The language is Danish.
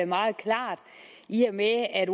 meget klart i og med at at